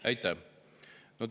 Aitäh!